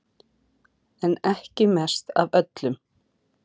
En ekki mest af öllum